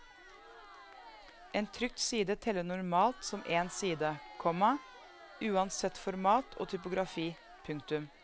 En trykt side teller normalt som en side, komma uansett format og typografi. punktum